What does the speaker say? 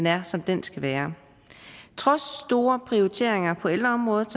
er som den skal være trods store prioriteringer på ældreområdet